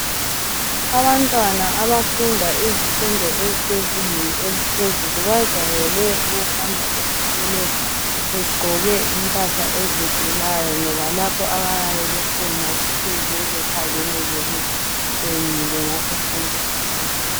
Abantwana abafunda izifundo ezisezingeni eliphezulu bajayele ukuhamba esikolweni begqoke impahla ezidulayo ngoba lapho abayabe bekhona kufuze bekhangeleke betshenile ngaso sonke isikhathi.